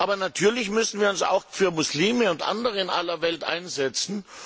Aber natürlich müssen wir uns auch für Muslime und andere in aller Welt einsetzen.